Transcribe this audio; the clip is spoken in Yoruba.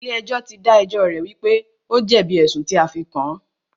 Ilé ẹjọ́ tí dá ẹjọ́ rẹ̀ wípé o jẹ̀bi ẹ̀sùn tí a fí kàn án.